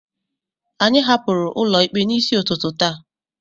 anyị hapụrụ ụlọ ikpe n'isi ụtụtụ taa